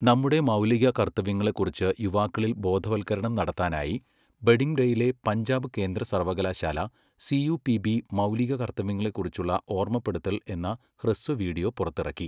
നമ്മുടെ മൗലിക കർത്തവ്യങ്ങളെക്കുറിച്ച് യുവാക്കളിൽ ബോധവൽക്കരണം നടത്താനായി ബഢിംഡയിലെ പഞ്ചാബ് കേന്ദ്ര സർവകലാശാല സിയുപിബി മൗലിക കർത്തവ്യങ്ങളെക്കുറിച്ചുള്ള ഓർമ്മപ്പെടുത്തൽ എന്ന ഹ്രസ്വ വീഡിയോ പുറത്തിറക്കി.